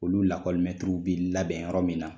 Olu lakɔli bi labɛn yɔrɔ min na.